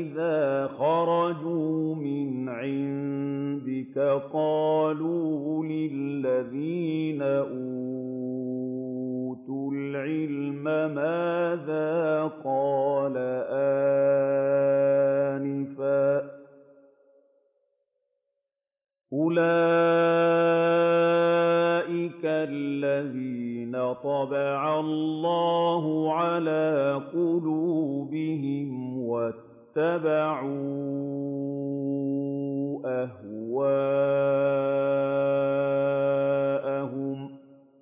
إِذَا خَرَجُوا مِنْ عِندِكَ قَالُوا لِلَّذِينَ أُوتُوا الْعِلْمَ مَاذَا قَالَ آنِفًا ۚ أُولَٰئِكَ الَّذِينَ طَبَعَ اللَّهُ عَلَىٰ قُلُوبِهِمْ وَاتَّبَعُوا أَهْوَاءَهُمْ